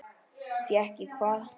Fékk ég hvað?